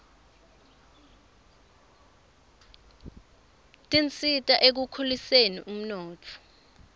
tisita ekukhuliseni umnotfo